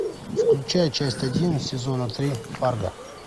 включай часть один сезона три фарго